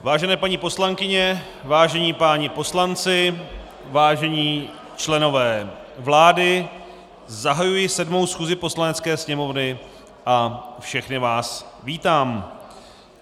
Vážené paní poslankyně, vážení páni poslanci, vážení členové vlády, zahajuji 7. schůzi Poslanecké sněmovny a všechny vás vítám.